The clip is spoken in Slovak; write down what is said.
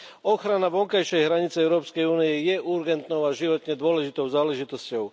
Ochrana vonkajšej hranice Európskej únie je urgentnou a životne dôležitou záležitosťou.